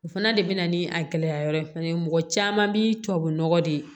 O fana de bina ni a gɛlɛya yɔrɔ ye fɛnɛ mɔgɔ caman bi tubabu nɔgɔ de ye